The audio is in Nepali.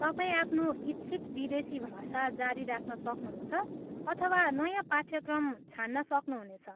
तपाईँ आफ्नो इच्छित विदेशी भाषा जारी राख्न सक्नुहुन्छ अथवा नयाँ पाठ्यक्रम छान्न सक्नुहुनेछ।